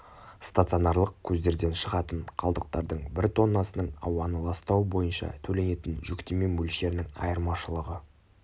стационарлық көздерден шығатын қалдықтардың бір тоннасының ауаны ластауы бойынша төленетін жүктеме мөлшерінің айырмашылығы